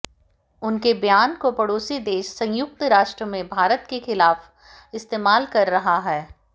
उनके बयान को पड़ोसी देश संयुक्त राष्ट्र में भारत के खिलाफ इस्तेमाल कर रहा है